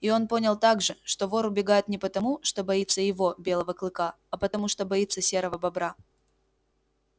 и он понял также что вор убегает не потому что боится его белого клыка а потому что боится серого бобра